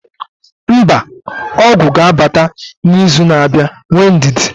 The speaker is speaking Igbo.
mba, ọgwụ ga-abata n'izu na-abịa, nwee ndidi